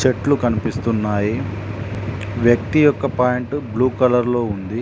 చెట్లు కనిపిస్తున్నాయి వ్యక్తి యొక్క పాయింట్ బ్లూ కలర్ లో ఉంది.